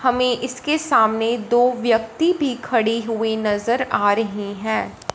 हमें इसके सामने दो व्यक्ति भी खड़ी हुई नजर आ रही हैं।